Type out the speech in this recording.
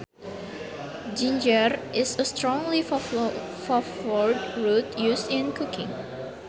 Ginger is a strongly flavored root used in cooking